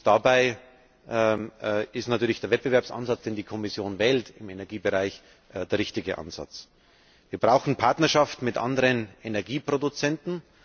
Dabei ist natürlich der Wettbewerbsansatz, den die Kommission wählt, im Energiebereich der richtige Ansatz. Wir brauchen Partnerschaften mit anderen Energieproduzenten.